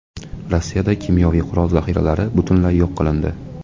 Rossiyada kimyoviy qurol zaxiralari butunlay yo‘q qilindi .